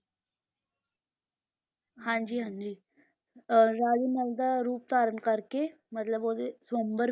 ਹਾਂਜੀ ਹਾਂਜੀ ਅਹ ਰਾਜੇ ਨਲ ਦਾ ਰੂਪ ਧਾਰਨ ਕਰਕੇ ਮਤਲਬ ਉਹਦੇ ਸਵੰਬਰ,